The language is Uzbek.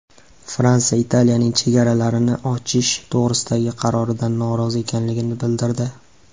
Fransiya Italiyaning chegaralarni ochish to‘g‘risidagi qaroridan norozi ekanligini bildirdi.